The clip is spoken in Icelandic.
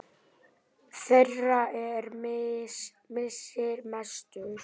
Þeirra er missir mestur.